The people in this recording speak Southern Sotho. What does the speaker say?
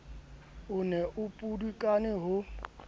o ne a pudukane ho